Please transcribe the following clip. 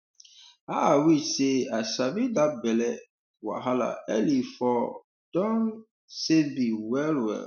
ah i wish say i sabi that belly um wahala early for um don um save me well well